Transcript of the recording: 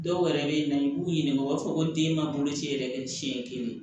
Dɔw wɛrɛ bɛ yen nɔ i b'u ɲininka o b'a fɔ ko den ka boloci yɛrɛ kɛ siɲɛ kelen